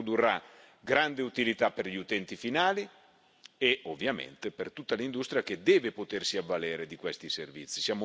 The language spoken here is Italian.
Questo produrrà grande utilità per gli utenti finali e, ovviamente, per tutta l'industria che deve potersi avvalere di questi servizi.